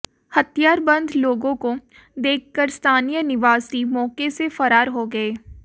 हथियारबंद लोगों को देखकर स्थानीय निवासी मौके से फरार हो गए